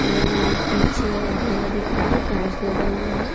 और पीछे अंधेरा दिख रहा है कांच लगा हुआ है।